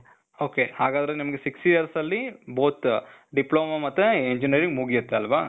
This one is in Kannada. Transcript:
ok, ಹಾಗಾದ್ರೆ ನಿಮ್ಗೆ ಸಿಕ್ಸ್ years ಅಲ್ಲಿ both ಡಿಪ್ಲೋಮಾ ಮತ್ತೆ engineering ಮುಗಿಯತ್ತಲ್ವ?